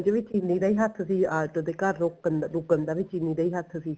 ਵੀ ਚੀਲੀ ਦਾ ਹੱਥ ਸੀ ਆਟੋ ਦੇ ਘਰ ਰੋਕਣ ਰੁਕਣ ਦਾ ਵੀ ਚੀਲੀ ਦਾ ਈ ਹੱਥ ਸੀ